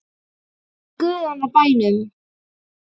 Í guðanna bænum.